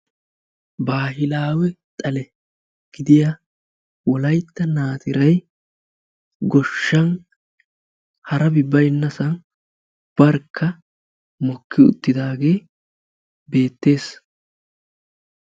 Baahilaawe xale gidiya wolaytta naatiray goshshan harabi baynnasan barkka mokki uttidaagee beettees.